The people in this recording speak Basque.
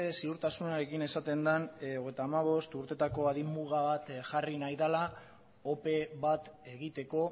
ziurtasunarekin esaten den hogeita hamabost urtetako adin muga bat jarri nahi dela ope bat egiteko